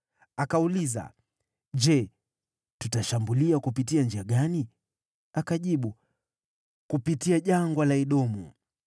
Akauliza, “Je, tutashambulia kupitia njia gani?” Akajibu, “Kupitia Jangwa la Edomu.”